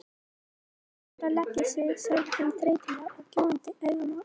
Best að fara að leggja sig sagði hann þreytulega og gjóaði augunum á Örn.